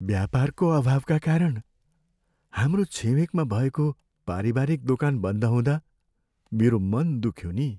व्यापारको अभावका कारण हाम्रो छिमेकमा भएको पारिवारिक दोकान बन्द हुँदा मेरो मन दुख्यो नि।